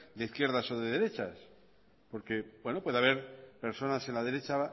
de izquierdas o de derechas porque puede haber personas en la derecha